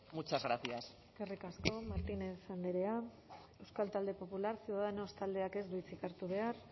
muchas gracias eskerrik asko martínez andrea euskal talde popular ciudadanos taldeak ez du hitzik hartu behar